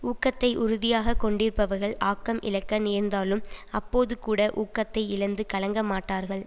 ஊக்கத்தை உறுதியாக கொண்டிருப்பவர்கள் ஆக்கம் இழக்க நேர்ந்தாலும் அப்போதுகூட ஊக்கத்தை இழந்து கலங்க மாட்டார்கள்